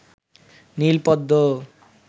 নীল পদ্ম